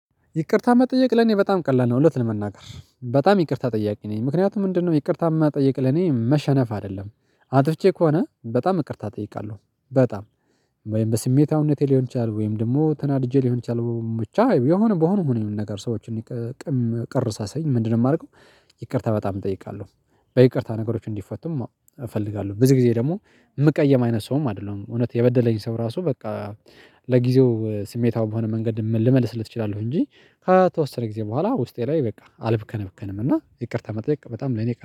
ይቅርታ መጠየቅ ለኔ በጣም ቀላል ነው እለት ለመናገር በጣም ይቅርታ ጠያቂ ነኝ ምክንያቱም ምንድነው? ይቅርታ መጠየቅ ለኔ መሸነፍ አይደለም። አጥፍቼ ከሆነ በጣም ይቅርታ እጠይቃለሁ። በጣም ወይም በስሜታዊነቴ ሊሆን ይችላል ወይም ደግሞ ተናድጄ ሊሆን ይችላል። ብቻ የሆነ በሆነው ይሁን ነገር ሰዎችን ቅር ሳሰኝ ምንድነው የማረገው? ይቅርታ በጣም እጠይቃለሁ። በይቅርታ ነገሮች እንዲፈቱም እፈልጋለሁ። ብዙ ጊዜ ደግሞ የምቀየም አይነት ሰውም አይደለሁም። እውነት የበደለኝ ሰው ራሱ በቃ ለጊዜው ስሜታዊ በሆነ መንገድ ልመልስለት እችላለሁ። እንጂ ከተወሰነ ጊዜ በኋላ ውስጤ ላይ በቃ አልብከነከንም። እና ይቅርታ መጠየቅ በጣም ለኔ